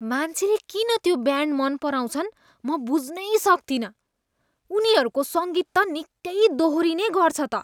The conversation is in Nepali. मान्छेले किन त्यो ब्यान्ड मन पराउँछन् म बुझ्नै सक्तिनँ। उनीहरूको सङ्गीत त निकै दोहोरिने गर्छ त।